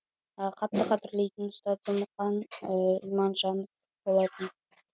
қатты қадірлейтін ұстазы мұқан иманжанов болатын